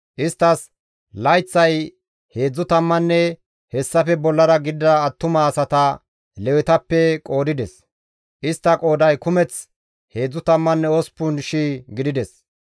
Isttas layththay heedzdzu tammanne hessafekka bollara gidida attuma asata Lewetappe qoodides; istta qooday kumeth 38,000 gidides.